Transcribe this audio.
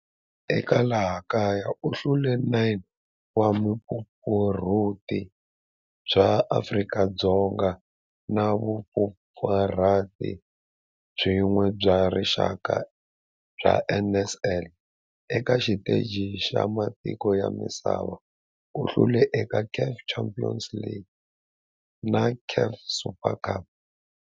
Eka laha kaya u hlule 9 wa vumpfampfarhuti bya Afrika-Dzonga na vumpfampfarhuti byin'we bya rixaka bya NSL. Eka xiteji xa matiko ya misava, u hlule eka CAF Champions League na CAF Super Cup.